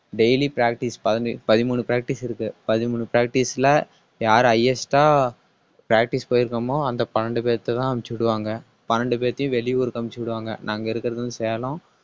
daily practice பதினெ~ பதிமூணு practice இருக்கு. பதிமூணு practice ல யாரு highest ஆ practice போயிருக்கமோ அந்த பன்னிரண்டு பேர்ட்டதான் அனுப்பிச்சு விடுவாங்க பன்னிரண்டு பேத்தையும் வெளியூருக்கு அனுப்பிச்சு விடுவாங்க. நாங்க இருக்குறது வந்து சேலம்